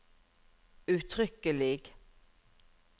uttrykkelig